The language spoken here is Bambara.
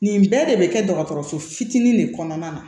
Nin bɛɛ de bɛ kɛ dɔgɔtɔrɔso fitinin de kɔnɔna na